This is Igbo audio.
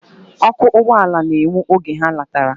Oku ugboala na enwu oge ha natara.